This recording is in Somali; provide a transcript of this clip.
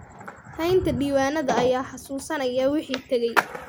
Haynta diiwaanada ayaa xasuusanaya wixii tagay.